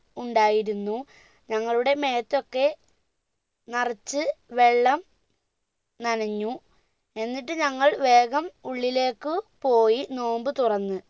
ഉണ്ടായിരുന്നു ഞങ്ങളുടെ മേത്തൊക്കെ നറച്ച് വെള്ള നനഞ്ഞു എന്നിട്ട് ഞങ്ങൾ വേഗം ഉള്ളില്ലേക്ക് പോയി നോമ്പ് തുറന്നു